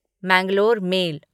Mangalore mail